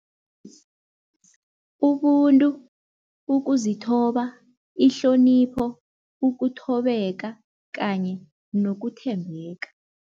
Ubuntu, ukuzithoba, ihlonipho, ukuthobeka kanye nokuthembeka.